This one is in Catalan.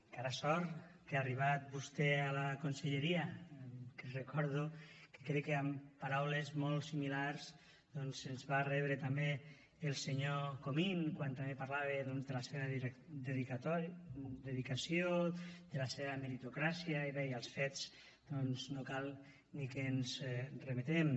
encara sort que ha arribat vostè a la conselleria que recordo que crec que amb paraules molt similars doncs ens va rebre també el senyor comín quan també parlava de la seva dedicació de la seva meritocràcia i bé als fets no cal ni que ens remetem